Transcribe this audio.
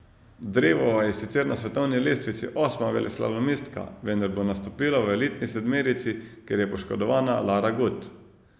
Drevova je sicer na svetovni lestvici osma veleslalomistka, vendar bo nastopila v elitni sedmerici, ker je poškodovana Lara Gut.